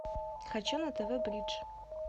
хочу на тв бридж